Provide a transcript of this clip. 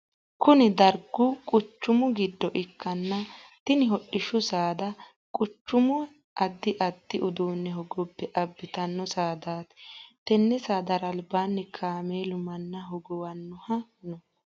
Kunni dargu kuchumu gido ikanna tinni hodhishu saada quchuma addi addi uduune hogobe abitino saadaati. Tenne saadara albaanni kaameelu manna hogowanoha no